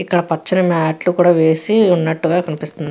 ఇక్కడ పచ్చని మ్యాట్ లు కూడ వేసి వున్నట్టుగా కనిపిస్తుంది.